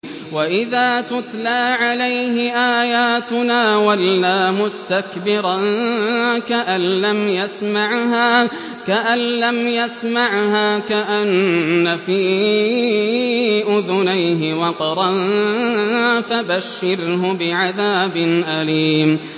وَإِذَا تُتْلَىٰ عَلَيْهِ آيَاتُنَا وَلَّىٰ مُسْتَكْبِرًا كَأَن لَّمْ يَسْمَعْهَا كَأَنَّ فِي أُذُنَيْهِ وَقْرًا ۖ فَبَشِّرْهُ بِعَذَابٍ أَلِيمٍ